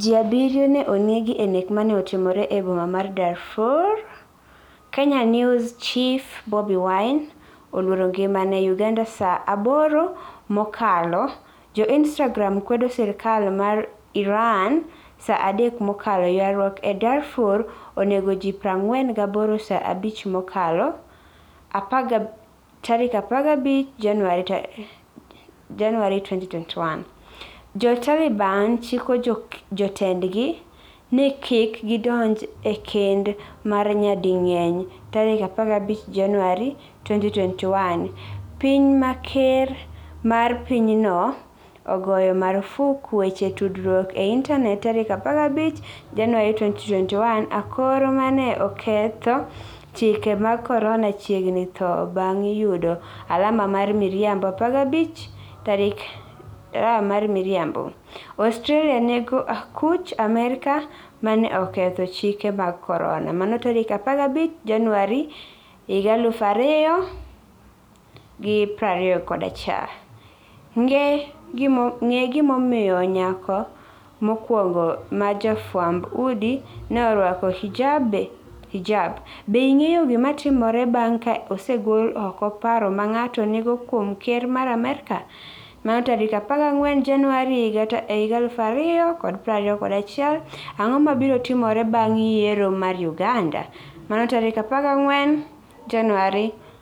Ji abiriyo ne onegi e nek ma ne otim e boma mar Darfur Kenya Kenya News Chief Bobi Wine 'oluoro ngimane' UgandaSa 8 mokalo Jo-Instagram kwedo sirkal mar IranSa 3 mokalo Ywaruok e Darfur onego ji 48Sa 5 mokalo 15 Januar 2021 Jo-Taliban chiko jotendgi ni kik gidonj e kend mar nyading'eny15 Januar 2021 Piny ma ker mar pinyno ogoyo marfuk weche tudruok e intanet15 Januar 2021 Akor 'ma ne oketho chike mag corona' chiegni tho bang' yudo alama mar miriambo15 Januar 2021 Australia nego akuch Amerka 'ma ne oketho chike mag Corona'15 Januar 2021 Ng'e gimomiyo nyako mokwongo ma jafwamb udi ne orwako hijab Be ing'eyo gima timore bang ' ka osegol oko paro ma ng'ato nigo kuom ker mar Amerka? 14 Januar 2021 Ang'o mabiro timore bang' yiero mar Uganda? 14 Januar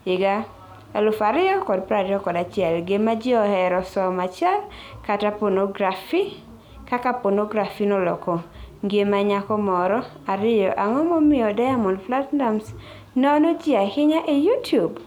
2021 Gima Ji Ohero Somo 1 Kaka Ponografi Noloko Ngima Nyako Moro 2 Ang'o Momiyo Diamond Platinumz Nono Ji Ahinya e Youtube?